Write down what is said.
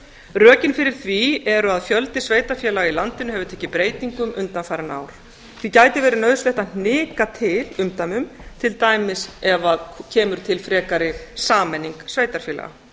rökin fyrir því eru að fjöldi sveitarfélaga í landinu hefur tekið breytingum undanfarin ár því gæti verið nauðsynlegt að hnika til umdæmum til dæmis ef kemur til frekari sameining sveitarfélaga